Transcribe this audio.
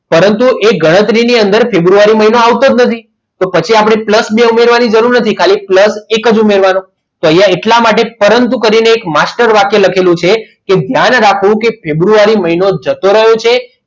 પરંતુ એ ગણતરીની અંદર ફેબ્રુઆરી મહિનો આવતો જ નથી તો પછી આપણે plus બે ઉમેરવાની જરૂર નથી plus એક જ ઉમેરવાનો તો અહીંયા એટલા માટે પરંતુ કહીને એક master વાક્ય લખેલું છે કે ફેબ્રુઆરી મહિનો જતો રહ્યો છે.